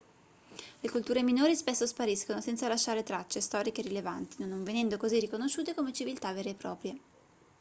le culture minori spesso spariscono senza lasciare tracce storiche rilevanti non venendo così riconosciute come civiltà vere e proprie